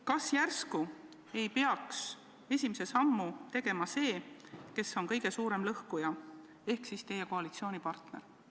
Kas järsku ei peaks esimese sammu tegema see, kes on kõige suurem lõhkuja, ehk siis teie koalitsioonipartner?